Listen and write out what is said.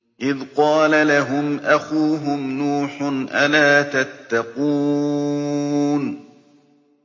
إِذْ قَالَ لَهُمْ أَخُوهُمْ نُوحٌ أَلَا تَتَّقُونَ